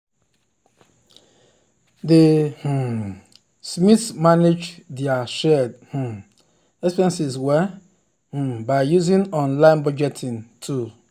di um smiths manage dir shared um expenses well um by using online budgeting tool.